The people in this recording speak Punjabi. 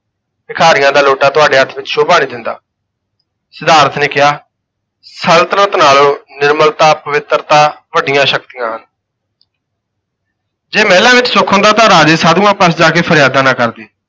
ਭਿਖਾਰੀਆਂ ਦਾ ਲੋਟਾ ਤੁਹਾਡੇ ਹੱਥ ਵਿੱਚ ਸੋਭਾ ਨਹੀਂ ਦਿੰਦਾ ਸਿਧਾਰਥ ਨੇ ਕਿਹਾ, ਸਲਤਨਤ ਨਾਲੋਂ ਨਿਮਰਤਾ, ਪਵਿੱਤਰਤਾ, ਵੱਡੀਆਂ ਸ਼ਕਤੀਆਂ ਹਨ। ਜੇ ਮਹਿਲਾਂ ਵਿੱਚ ਸੁੱਖ ਹੁੰਦਾ ਤਾਂ ਰਾਜੇ ਸਾਧੂਆਂ ਪਾਸ ਜਾ ਕੇ ਫਰਿਆਦਾਂ ਨਾ ਕਰਦੇ।